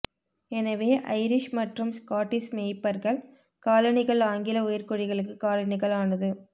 எனவே ஐரிஷ் மற்றும் ஸ்காட்டிஷ் மேய்ப்பர்கள் காலணிகள் ஆங்கில உயர்குடிகளுக்கு காலணிகள் ஆனது